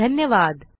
धन्यवाद